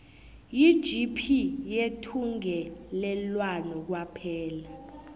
yigp yethungelelwano kwaphela